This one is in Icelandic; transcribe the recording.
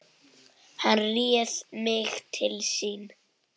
Hann réði mig til sín.